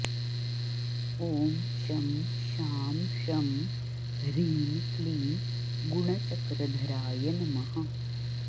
ॐ शं शां षं ह्रीं क्लीं गुणचक्रधराय नमः